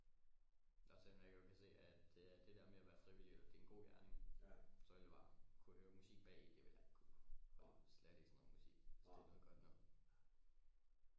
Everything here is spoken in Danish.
Også selvom jeg godt kan se at øh det der med at være frivillig det er en god gerning så det bare kun at høre musik bagi det ville jeg ikke kunne slet ikke sådan noget musik hvis det er noget godt noget